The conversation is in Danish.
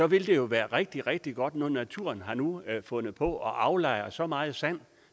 vil jo være rigtig rigtig godt når naturen nu har fundet på at aflejre så meget sand